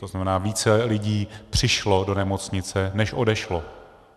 To znamená, více lidí přišlo do nemocnice než odešlo.